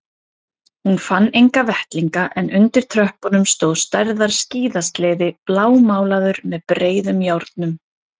Hún fann enga vettlinga en undir tröppunum stóð stærðar skíðasleði blámálaður með breiðum járnum.